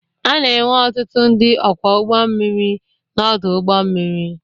A na-enwe ọtụtụ ndị ọkwọ ụgbọ mmiri n'ọdụ ụgbọ mmiri.